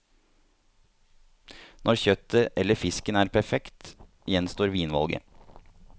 Når kjøttet eller fisken er perfekt, gjenstår vinvalget.